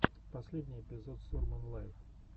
последний эпизод сурман лайв